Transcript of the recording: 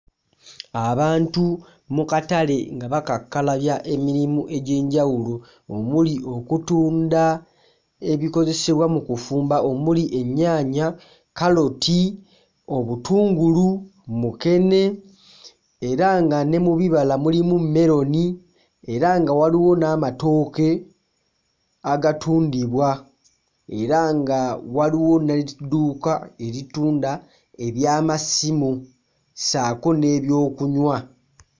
Abantu mu katale nga bakakkalabya emirimu egy'enjawulo omuli okutunda ebikozesebwa mu kufumba omuli ennyaanya, kkaloti, obutungulu, mukene era nga ne mu bibala mulimu mmeroni era nga waliwo n'amatooke agatundibwa era nga waliwo n'edduuka eritunda eby'amasimu ssaako n'ebyokunywa.